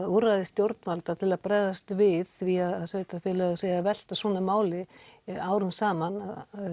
úrræði stjórnvalda til að bregðast við því að sveitafélögins segja að velta svona máli árum saman